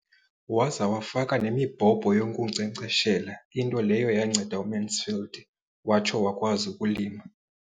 Waza wafaka nemibhobho yokunkcenkceshela, into leyo yanceda uMansfield watsho wakwazi ukulima.